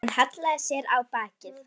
Hann hallaði sér á bakið.